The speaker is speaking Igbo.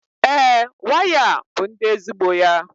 ee, waya a bụ ndi ezigbo ya